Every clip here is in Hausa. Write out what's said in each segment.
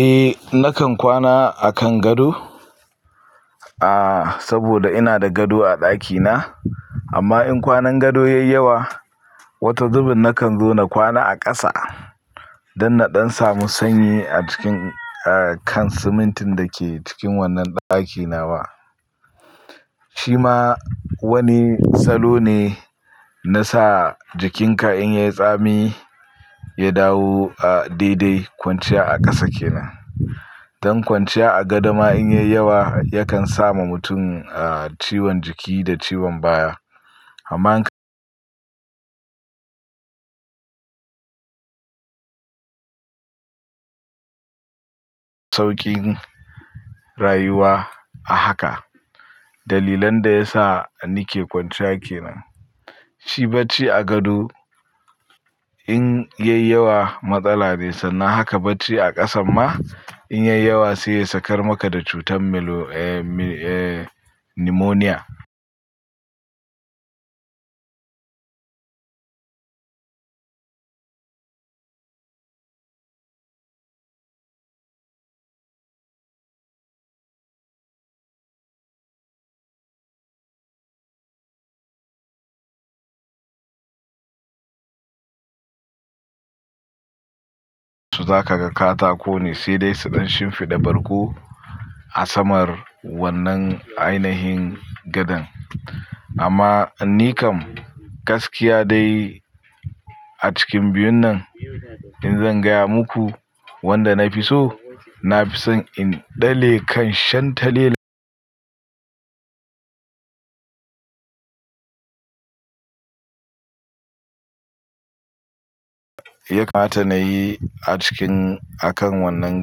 Eh nakan kwana a kan gado, aah saboda ina da gado a ɗakina amma in kwanan gado yayi yawa, wata zubin nakan zo na kwana a ƙasa don na ɗan samu sanyi a cikin a kan simintin da ke cikin wannan ɗaki nawa. Shi ma wani salo ne na sa jikinka in yayi tsami, ya dawo a daidai kwanciya a ƙasa kenan. Don kwanciya a gadoma in yayi yawa yakan sama mutum a ciwon jiki da ciwon baya. Amma sauƙin rayuwa a haka. Dalilan da ya sa ni ke kwanciya kenan. Shi bacci a gado in yayi yawa matsala ne sannan haka bacci a ƙasan ma in yayi yawa sai ya sakar maka da cutar melo eh mi eh nimoniya. So za ka ga katako ne sai dai su ɗan shimfiɗa bargo a samar wannan ainahin gadon. Amma nikam gaskiya dai a cikin biyun nan in zan gaya muku wanda na fi so, na fi son in ɗale kan shan tale. Ya kamata nayi a cikin a kan wannan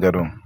gadon.